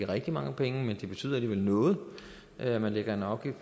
rigtig mange penge men det betyder alligevel noget at man lægger en